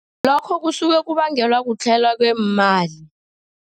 Lokho kusuke kubangelwa kutlhayelwa kweemali.